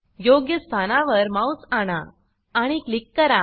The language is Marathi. योग्य स्थानावर माउस आणा आणि क्लिक करा